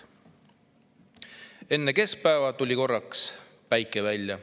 "Enne keskpäeva tuli korraks päike välja.